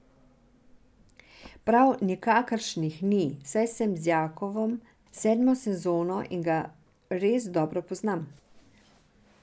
Prav nikakršnih ni, saj sem z Jakovom sedmo sezono in ga res dobro poznam.